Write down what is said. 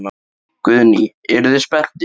Guðný: Eruð þið spenntir?